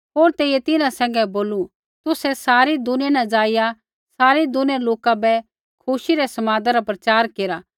होर तेइयै तिन्हां सैंघै बोलू तुसै सारै दुनिया न जाईया सारी दुनिया रै लोका बै खुशी रै समादा रा प्रचार केरा